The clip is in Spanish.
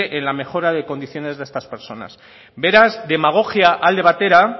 en la mejora de las condiciones de estas personas beraz demagogia alde batera